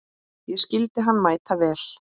Ég skildi hann mæta vel.